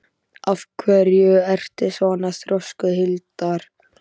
Af hverju ertu svona þrjóskur, Hildar?